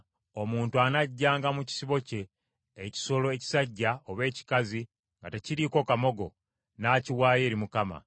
“ ‘Omuntu anaggyanga mu kisibo kye ekisolo ekisajja oba ekikazi nga tekiriiko kamogo, n’akiwaayo eri Mukama .